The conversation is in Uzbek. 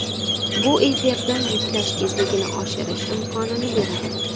Bu efirda yuklash tezligini oshirish imkonini beradi.